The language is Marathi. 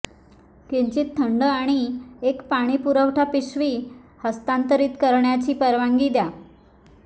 किंचित थंड आणि एक पाणी पुरवठा पिशवी हस्तांतरित करण्याची परवानगी द्या